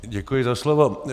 Děkuji za slovo.